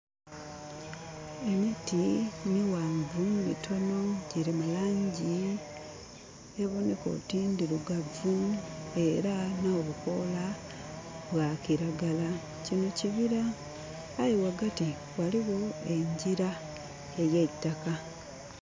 Emiti mighanvu mitonho gilimu langi eboneka oti ndirugavu era nho bukoola bwa kiragala. Kinho kibira aye ghagati ghaligho engira eyeitaka.